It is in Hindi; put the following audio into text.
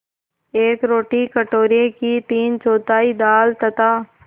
एक रोटी कटोरे की तीनचौथाई दाल तथा